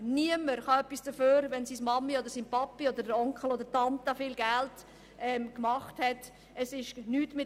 Niemand kann etwas dafür, wenn die Mutter, der Vater oder der Onkel viel Geld erwirtschaftet hat.